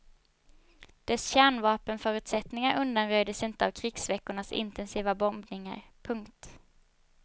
Dess kärnvapenförutsättningar undanröjdes inte av krigsveckornas intensiva bombningar. punkt